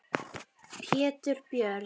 Pétur Björn.